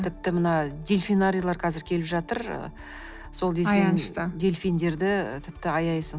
тіпті мына дельфинарийлар қазір келіп жатыр дельфиндерді тіпті аяйсың